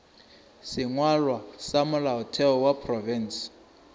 sengwalwa sa molaotheo wa profense